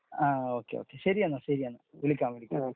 ങാ . Okay okay . ശെരിയെന്നാ ശെരിയെന്നാ വിളിക്കാം.